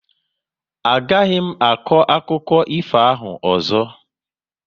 A gaghị m akọ akụkọ ifo ahụ ọzọ